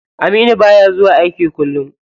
Aminu baya zuwa aiki kullum.